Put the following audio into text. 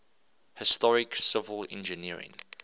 historic civil engineering